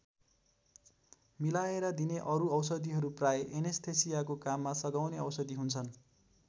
मिलाएर दिने अरु औषधिहरू प्रायः एनेस्थेसियाको काममा सघाउने औषधि हुन्छन्।